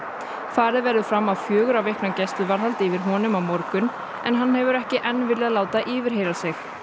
farið verður fram á fjögurra vikna gæsluvarðhald yfir honum á morgun en hann hefur ekki enn þá viljað láta yfirheyra sig